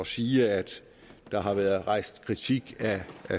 sige at der har været rejst kritik af